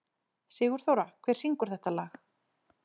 Sigurþóra, hver syngur þetta lag?